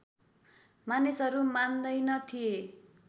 मानिसहरू मान्दैन थिए